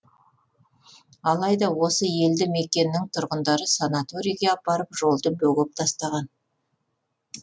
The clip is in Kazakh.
алайда осы елді мекеннің тұрғындары санаторийге апаратын жолды бөгеп тастаған